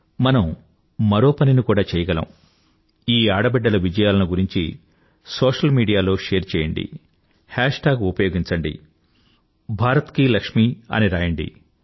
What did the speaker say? మనం మరో పనిని కూడా చేయగలం ఈ ఆడబిడ్డల విజయాలను గురించి సోషల్ మీడియాలో షేర్ చేయండి హేష్ టాగ్ హాష్టాగ్ ఉపయోగించిండి భారతకీలక్ష్మీ భారత లక్ష్మి అని రాయండి